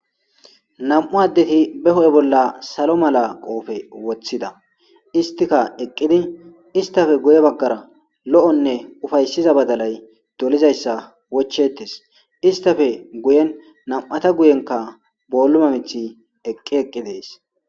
nam7u addeti beho7e bolla salo mala qoofe woththida istika eqqidi istafe guye baggara lo7onne ufayssiza badalay dolizayssa wochettes istafe guyen nam7ata guyenka booluma mithi eqqi eqqi dees